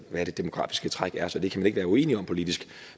hvad det demografiske træk er så det kan man ikke være uenige om politisk